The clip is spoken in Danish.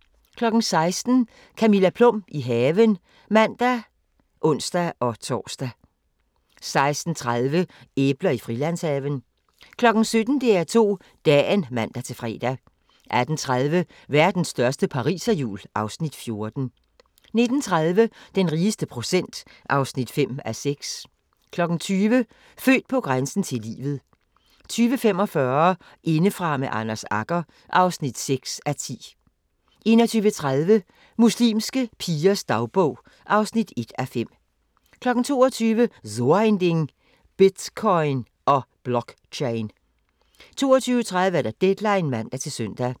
16:00: Camilla Plum – i haven (man og ons-tor) 16:30: Æbler i Frilandshaven 17:00: DR2 Dagen (man-fre) 18:30: Verdens største pariserhjul (Afs. 14) 19:30: Den rigeste procent (5:6) 20:00: Født på grænsen til livet 20:45: Indefra med Anders Agger (6:10) 21:30: Muslimske pigers dagbog (1:5) 22:00: So ein Ding: Bitcoin & Blockchain 22:30: Deadline (man-søn)